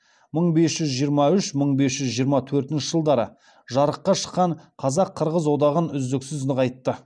мың бес жүз жиырма үш мың бес жүз жиырма төртінші жылдары жарыққа шыққан қазақ қырғыз одағын үздіксіз нығайтты